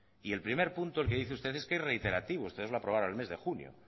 y el primer punto el que dice usted es que es reiterativo ustedes lo aprobaron en el mes de junio